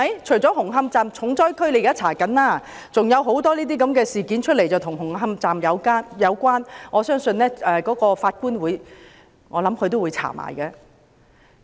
除了紅磡站重災區政府正在調查外，還有很多事件與紅磡站有關，我相信法官會一併調查。